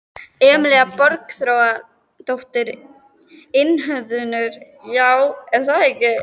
Emilía Borgþórsdóttir, iðnhönnuður: Já, er það ekki?